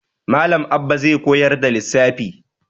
Malam Abba zai koyar da lissafi.